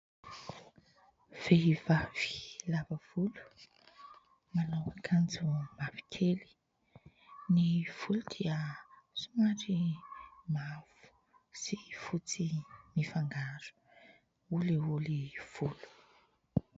Vehivavy lava volo manao akanjo mavokely. Ny volo dia somary mavo sy fotsy mifangaro, olioly volo.